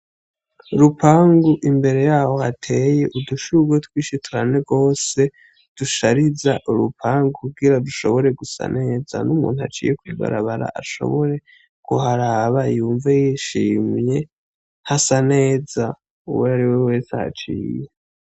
Urupangu imbere yaho hateye udushurwe twinshi cane gose dushariza urupangu kugira dushobore gusa neza n'umuntu aciye kw'ibarabara ashobore kuharaba yumve yishimye hasa neza uwariwe wese ahaciye.